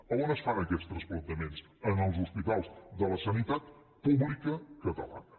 a on es fan aquests transplantaments en els hospitals de la sanitat pública catalana